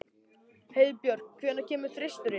Heiðbjörk, hvenær kemur þristurinn?